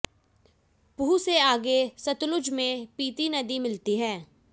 पूह से आगे सतलुज में पिति नदी मिलती है